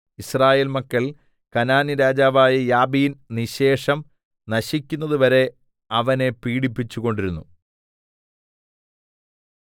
യിസ്രായേൽ മക്കൾ കനാന്യരാജാവായ യാബീൻ നിശേഷം നശിക്കുന്നതുവരെ വരെ അവനെ പീഡിപ്പിച്ചു കൊണ്ടിരുന്നു